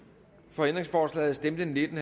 for ændringsforslaget stemte nitten